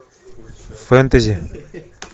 фэнтези